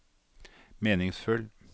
meningsfull